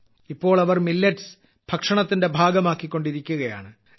ഇപ്പോൾ അവർ മില്ലറ്റ്സ് ഭക്ഷണത്തിന്റെ ഭാഗമാക്കികൊണ്ടിരിക്കുകയാണ്